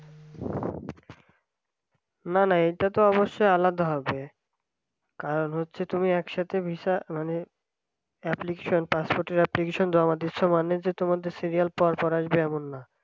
না না এটা তো অবশ্যই আলাদা হবে। আর হচ্ছে তুমি একসাথে visa মানে application তার সাথে application জমা দিয়েছো মানেই যে তোমাদের serial পরপর আসবে এমন না